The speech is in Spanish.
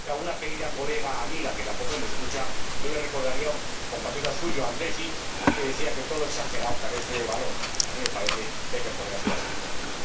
Y a alguna querida colega, amiga, que tampoco me escucha, yo le recordaría a un compatriota suyo, André Gide, que decía que todo lo exagerado carece de valor, y a mí me parece que hay que poner las cosas en su sitio.